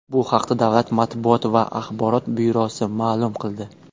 Bu haqda Davlat matbuot va axborot byurosi ma’lum qildi .